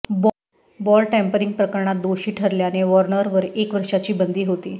ball tampering प्रकरणात दोषी ठरल्याने वॉर्नरवर एक वर्षाची बंदी होती